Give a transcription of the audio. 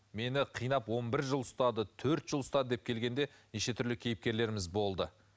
мені қинап он бір жыл ұстады төрт жыл ұстады деп келген де неше түрлі кейіпкеріміз болды